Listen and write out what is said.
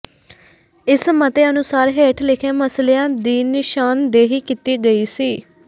ਇਸ ਮਤੇ ਅਨੁਸਾਰ ਹੇਠ ਲਿਖੇ ਮਸਲਿਆਂ ਦੀ ਨਿਸ਼ਾਨਦੇਹੀ ਕੀਤੀ ਗਈ ਸੀ